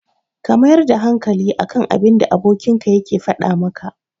Ka mayar da hankali a kan abinda abokinka yake faɗa maka.